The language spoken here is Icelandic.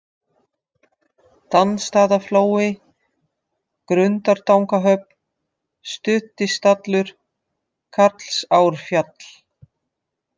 Tannstaðaflói, Grundartangahöfn, Stuttistallur, Karlsárfjall